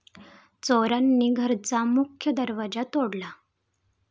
चोरांनी घराचा मुख्य दरवाजा तोडला.